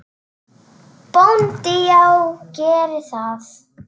BÓNDI: Já, gerið það.